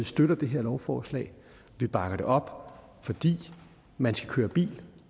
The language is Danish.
støtter det her lovforslag vi bakker det op fordi man skal køre bil